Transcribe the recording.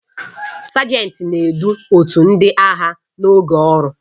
Sajenti na-edu otu ndị agha n'oge ọrụ.